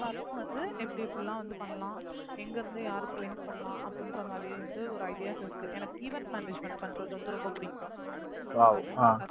அந்த மாதிரில்லாம் வந்து எப்படி இப்படில்லாம் வந்து பண்ணலாம், எங்கிருந்து யாருக்கு link பண்ணலாம் அப்படின்ற மாதிரி வந்து ஒரு ideas இருக்கு, எனக்கு event management பண்றது வந்து ரொம்ப புடிக்கும்